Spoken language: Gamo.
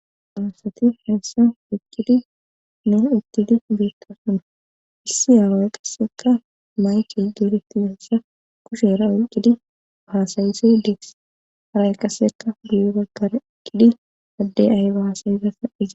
Darasati heessa iqqidi nu ittidi beetka suna issi aaroy qasseka mayti duureti yoossa kushera uyqqidi bahasayise dees haray qaseka duyo baggar iqidi adde ayba hasayisasa iza.